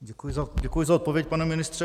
Děkuji za odpověď, pane ministře.